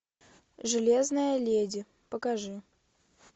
железная леди покажи